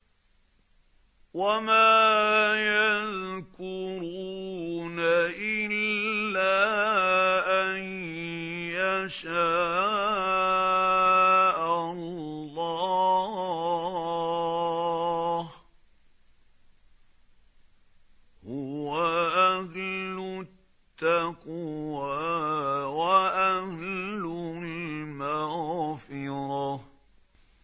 وَمَا يَذْكُرُونَ إِلَّا أَن يَشَاءَ اللَّهُ ۚ هُوَ أَهْلُ التَّقْوَىٰ وَأَهْلُ الْمَغْفِرَةِ